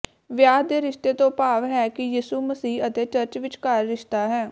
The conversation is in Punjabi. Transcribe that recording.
ਵਿਆਹ ਦੇ ਰਿਸ਼ਤੇ ਤੋਂ ਭਾਵ ਹੈ ਕਿ ਯਿਸੂ ਮਸੀਹ ਅਤੇ ਚਰਚ ਵਿਚਕਾਰ ਰਿਸ਼ਤਾ ਹੈ